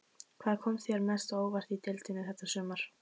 Hvað kom þér mest á óvart í deildinni þetta sumarið?